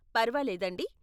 పర్వాలేదండి.